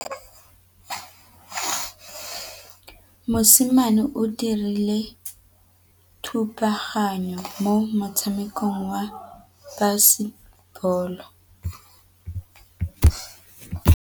Mosimane o dirile thubaganyô mo motshamekong wa basebôlô.